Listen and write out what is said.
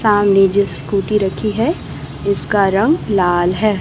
सामने जो स्कूटी रखी है इसका रंग लाल है।